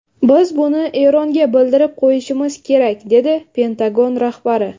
Biz buni Eronga bildirib qo‘yishimiz kerak”, dedi Pentagon rahbari.